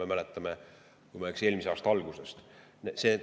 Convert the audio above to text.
Me mäletame seda, kui ma ei eksi, eelmise aasta algusest.